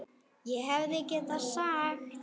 ÉG HEFÐI GETAÐ SAGT